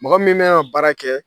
Mɔgɔ min bɛ na baara kɛ